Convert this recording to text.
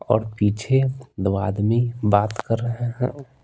और पीछे दो आदमी बात कर रहे हैं।